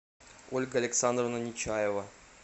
ольга александровна нечаева